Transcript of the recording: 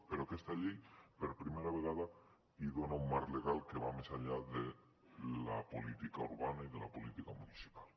però aquesta llei per primera vegada hi dona un marc legal que va més enllà de la política urbana i de la política municipal